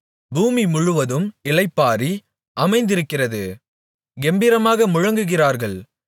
பூமிமுழுவதும் இளைப்பாறி அமைந்திருக்கிறது கெம்பீரமாக முழங்குகிறார்கள்